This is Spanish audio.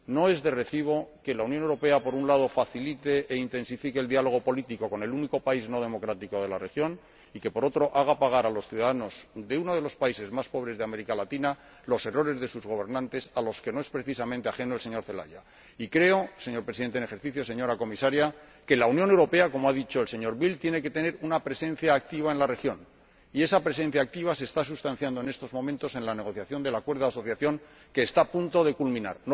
No es de recibo que la Unión Europea, por un lado, facilite e intensifique el diálogo político con el único país no democrático de la región y, por otro, haga pagar a los ciudadanos de uno de los países más pobres de América Latina los errores de sus gobernantes, a los que no es precisamente ajeno el señor Celaya. Y creo, señor Presidente en ejercicio del Consejo, señora Comisaria, que la Unión Europea, como ha dicho el señor Bildt, tiene que tener una presencia activa en la región. Y esa presencia activa se está sustanciando, en estos momentos, en la negociación del acuerdo de asociación que está a punto de culminar.